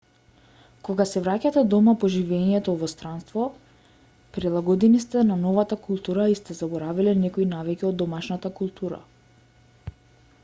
кога се враќате дома по живеењето во странство прилагодени сте на новата култура и сте заборавиле некои навики од домашната култура